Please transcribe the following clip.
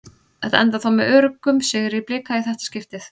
Þetta endar þó með öruggum sigri Blika í þetta skiptið.